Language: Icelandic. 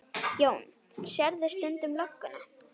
Jón: Sérðu stundum lögguna?